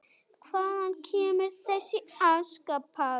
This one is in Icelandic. Hvaðan kemur þessi aska?